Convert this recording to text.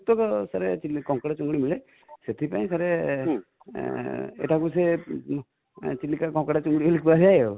sir କଙ୍କଡା ଚିଙ୍ଗୁଡ଼ି ମିଳେ ,ସେଥି ପାଇଁ sir ଏଟା ବୋଧେ ଚିଲିକା କଙ୍କଡା ଚିଙ୍ଗୁଡ଼ି ବୋଲି କୁହାଯାଏ